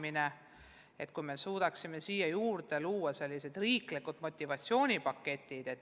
Oleks hea, kui suudaksime juurde luua riiklikke motivatsioonipakette.